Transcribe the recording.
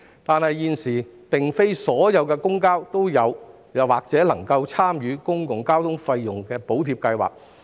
然而，現時並非所有公交皆正在或已能參與公共交通費用補貼計劃。